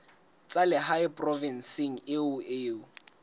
tsa lehae provinseng eo o